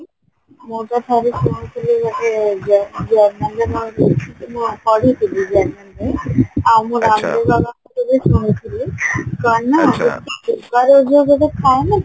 ମୁଁ ତ ଥରେ ଶୁଣୁଥିଲି ପଢୁଥିଲି ଆଉ ମୁଁ ଗାନ୍ଧୀ ବାବଙ୍କ ବି ଶୁଣୁଥିଲି କଣ ନାଁ ଯୋଉ ଗୋଟେ ଥାଏ ନାଁ